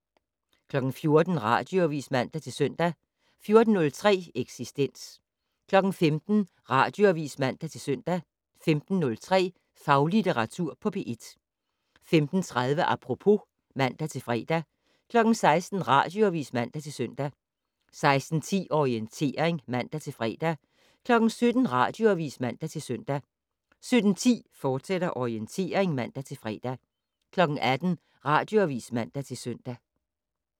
14:00: Radioavis (man-søn) 14:03: Eksistens 15:00: Radioavis (man-søn) 15:03: Faglitteratur på P1 15:30: Apropos (man-fre) 16:00: Radioavis (man-søn) 16:10: Orientering (man-fre) 17:00: Radioavis (man-søn) 17:10: Orientering, fortsat (man-fre) 18:00: Radioavis (man-søn)